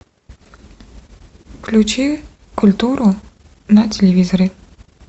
включи культуру на телевизоре